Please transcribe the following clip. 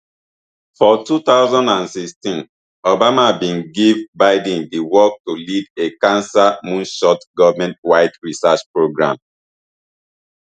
for two thousand and sixteen obama bin give biden di work to lead a cancer moonshot governmentwide research programme